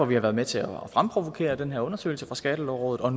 vi har været med til at fremprovokere den her undersøgelse fra skattelovrådet og